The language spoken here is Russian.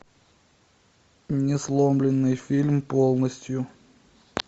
несломленный фильм полностью